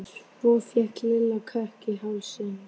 Svo fékk Lilla kökk í hálsinn.